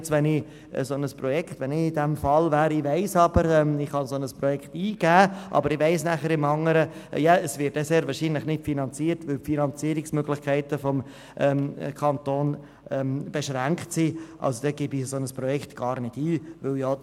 Aber wenn ich in dieser Situation wäre und wüsste, dass ich zwar ein solches Projekt eingeben könnte, aber gleichzeitig wüsste, dass es sehr wahrscheinlich nicht finanziert wird, weil die Finanzierungsmöglichkeiten des Kantons beschränkt sind, dann gäbe ich ein solches Projekt gar nicht ein.